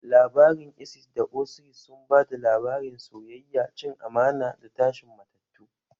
Labarin Isis da Osiris sun ba da labarin soyayya, cin amana, da tashin matattu.